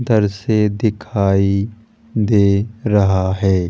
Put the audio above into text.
इधर से दिखाई दे रहा है।